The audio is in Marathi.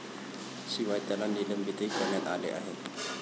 शिवाय त्याला निलंबितही करण्यात आले आहे.